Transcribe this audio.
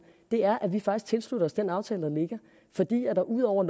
er at vi faktisk tilslutter os den aftale der ligger fordi der ud over